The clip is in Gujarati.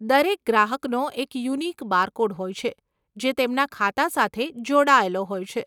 દરેક ગ્રાહકનો એક યુનિક બારકોડ હોય છે જે તેમના ખાતા સાથે જોડાયેલો હોય છે.